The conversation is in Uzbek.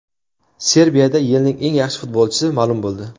Serbiyada yilning eng yaxshi futbolchisi ma’lum bo‘ldi.